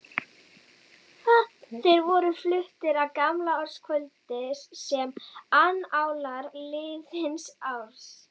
Þeir voru fluttir á gamlaárskvöldum sem annálar liðins árs.